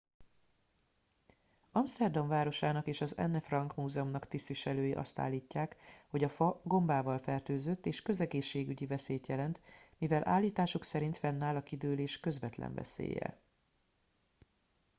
amszterdam városának és az anne frank múzeumnak tisztviselői azt állítják hogy a fa gombával fertőzött és közegészségügyi veszélyt jelent mivel állításuk szerint fennáll a kidőlés közvetlen veszélye